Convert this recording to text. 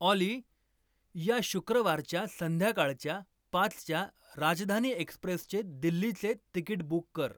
ऑली या शुक्रवारच्या संध्याकाळच्या पाचच्या राजधानी एक्स्प्रेसचे दिल्लीचे तिकीट बुक कर